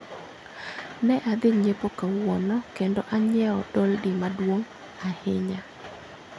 Ne adhi nyiepo kawuono kendo anyiewo doldi maduong' ahinya